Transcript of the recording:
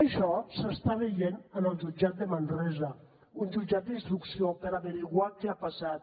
això s’està veient en el jutjat de manresa un jutjat d’instrucció per esbrinar què ha passat